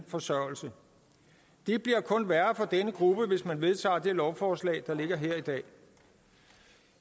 forsørgelse det bliver kun værre for denne gruppe hvis man vedtager det lovforslag der ligger her i dag